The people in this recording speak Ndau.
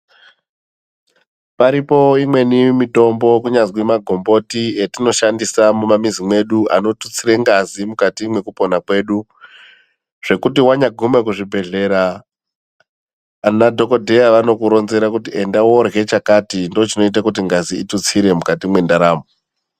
Paripo imweni mitombo kunyazi magomboti atinoshashandisa mumamuzi medu anotutsira ngazi mukati mekupona kwedu. Zvekuti wanya guma kuzvibhedhlera ana dhokodheya anokuronzera kuti enda korya chakati ndochinoita ngazi itutsire mukati mendaramo.